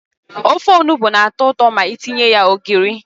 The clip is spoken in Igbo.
Ofe ọnụgbu na-ato ụtọ ma etinye ya ogiri.